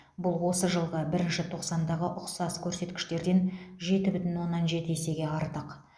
бұл осы жылғы бірінші тоқсандағы ұқсас көрсеткіштерден жеті бүтін оннан жеті есеге артық